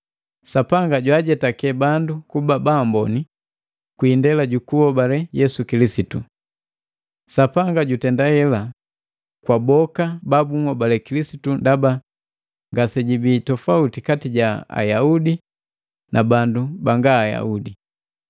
Sapanga jwaajetake bandu kuba baamboni kwi indela jukunhobale Yesu Kilisitu. Sapanga jutenda ela kwa boka babunhobale Kilisitu ndaba ngasejibi tofauti kati ja Ayaudi na bandu banga Ayaudi.